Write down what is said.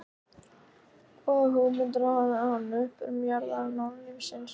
Hvaða hugmyndir hafði hann um uppruna jarðarinnar og lífsins?